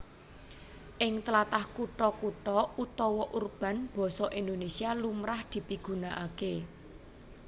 Ing tlatah kutha kutha utawa urban basa Indonésia lumrah dipigunakaké